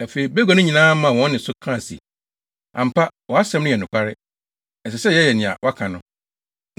Afei bagua no nyinaa maa wɔn nne so ka se, “Ampa, wʼasɛm no yɛ nokware. Ɛsɛ sɛ yɛyɛ nea woaka no.